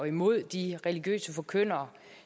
imod de religiøse forkyndere